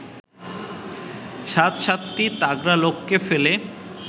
সাত সাতটি তাগড়া লোককে ফেলে